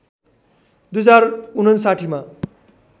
२०५९ मा